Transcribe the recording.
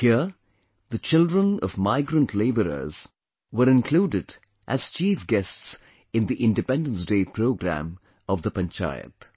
Here the children of migrant laborers were included as chief guests in the Independence Day Programme of the Panchayat